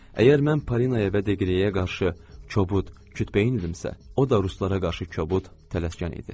Əgər mən Polinaya və Deqleyə qarşı kobud, kütbeyin idimsə, o da ruslara qarşı kobud, tələskar idi.